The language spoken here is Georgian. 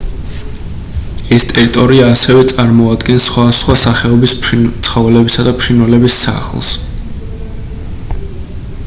ეს ტერიტორია ასევე წარმოადგენს სხვადასხვა სახეობის ცხოველებისა და ფრინველების სახლს